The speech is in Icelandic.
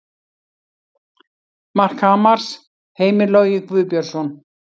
Mark Hamars: Heimir Logi Guðbjörnsson